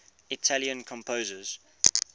italian composers